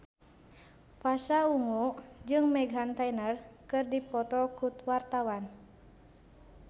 Pasha Ungu jeung Meghan Trainor keur dipoto ku wartawan